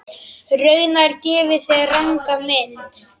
Raunar gefi þeir ranga mynd.